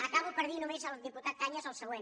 acabo per dir només al diputat cañas el següent